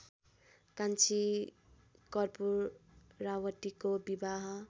कान्छी कर्पूरावतीको विवाह